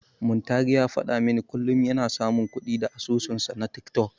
Muntari ya faɗa min kullum yana samun kuɗi da asusunsa na tiktok.